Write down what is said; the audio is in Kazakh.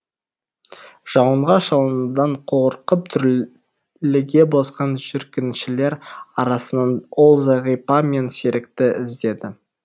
жауынға шалынудан қорқып дүрліге босқан жүргіншілер арасынан ол зағипа мен серікті іздеді